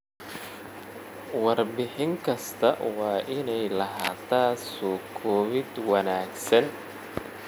Warbixin kasta waa inay lahaataa soo koobid wanaagsan.